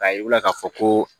K'a yir'u la k'a fɔ ko